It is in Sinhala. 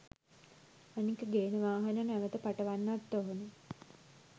අනික ගේන වාහන නැවත පටවන්නත් ඕනෙ